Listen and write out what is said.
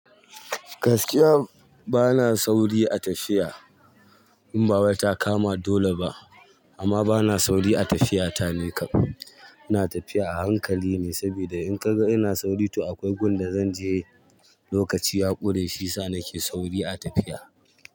Gaskiya bana sauri a tafiya in bawai ta kama dole ba amma bana sauri a tafiya ta ni kam. Ina tafiya a hankali ne saboda in ka ga ina sauri to akwai gun da zan je lokaci ya ƙure shiyasa nake sauri a tafiya.